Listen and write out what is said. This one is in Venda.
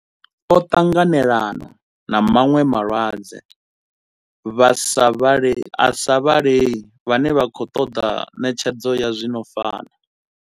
O ṱanganelana na vhaṅwe vhalwadze vha sa vhalei vhane vha khou ṱoḓa ṋetshedzo ya zwi no fana.